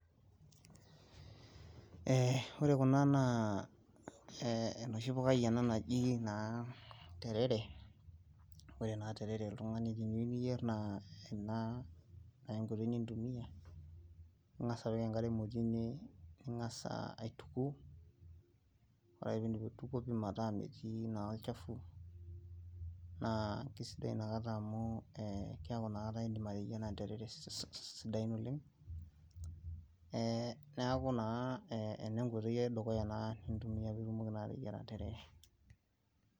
Ee ore kuna naa ee enoshi pukai ena naji naa terere ore naa terere neyieu niyier naa ena enkoitoi nintumiya; inkasa apik enkare emoti ninkasa aituku, ore piidip aituku metaa metii naa olchafu naa kesidai nakata amu ee keeku indim nakata ateyiara terere esidai ninya, ee neeku naa ena enkoitoi edukuya naa nintumiya peeitumoki naa ateyiara terere.